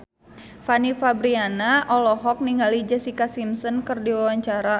Fanny Fabriana olohok ningali Jessica Simpson keur diwawancara